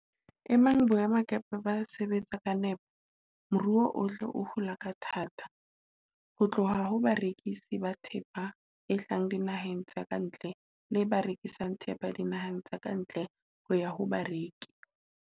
Ebang boemakepe bo sa sebetse ka nepo, moruo ohle o hula ka thata, ho tloha ho barekisi ba thepa e hlahang dinaheng tse ka ntle le ba rekisang thepa dinaheng tse ka ntle ho ya ho bareki.